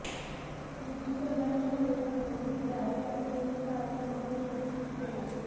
मृत्युदंडाच्या विरोधात वकील डॅरो यांनी दीर्घकाळाचा वकील उपस्थित केला